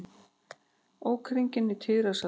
Ók hringinn á tíræðisaldri